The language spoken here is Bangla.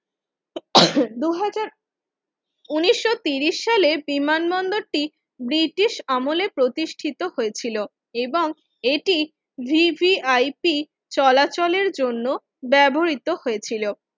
দুই হাজার উনিশশো তিরিশ সালে বিমান বন্দরটি ব্রিটিশ আমলে প্রতিষ্ঠিত হয়েছিল এবং এটি VVIP চলাচলের জন্য ব্যবহৃত হয়েছিল